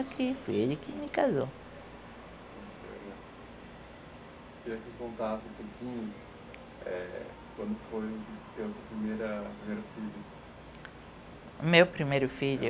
Foi ele que me casou. Eu queria que contasse um pouquinho, é quando foi ter o seu primeira, primeiro filho. Meu primeiro filho